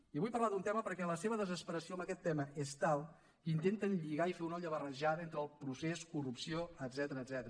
i vull parlar d’un tema perquè la seva desesperació en aquest tema és tal que intenten lligar i fer una olla barrejada entre el procés corrupció etcètera